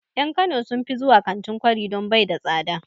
En kano sun fi zuwa kantin kwari don bai da tsada